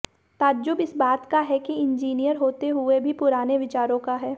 ताज्जुब इस बात का है कि इंजीनियर होते हुए भी पुराने विचारों का है